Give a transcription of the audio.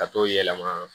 Ka t'o yɛlɛma